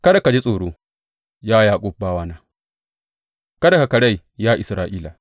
Kada ka ji tsoro, ya Yaƙub bawana; kada ka karai, ya Isra’ila.